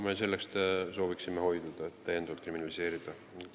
Me sellest sooviksime hoiduda, me ei taha täiendavalt kriminaliseerida.